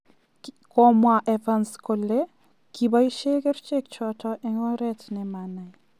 Komwaa Evans kole kiboisien kerichechoton en orent nemanai.